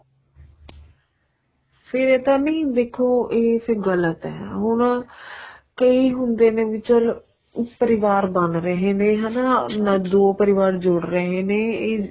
ਫ਼ੇਰ ਇਹ ਤਾਂ ਨਹੀਂ ਦੇਖੋ ਏ ਫ਼ੇਰ ਗ਼ਲਤ ਏ ਹੁਣ ਕਈ ਹੁੰਦੇ ਨੇ ਵੀ ਚੱਲ ਪਰਿਵਾਰ ਬਣ ਰਹੇ ਨੇ ਹੈਨਾ ਦੋ ਪਰਿਵਾਰ ਜੁੜ ਰਹੇ ਨੇ ਏ ਇਹ